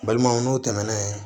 Balimaw n'o tɛmɛna yen